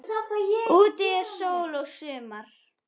Úti er sól og sumar.